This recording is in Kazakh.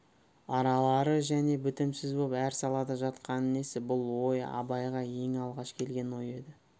аралары және бітімсіз боп әр салада жатқаны несі бұл ой абайға ең алғаш келген ой еді